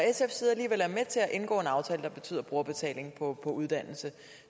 at indgå en aftale der betyder brugerbetaling på uddannelse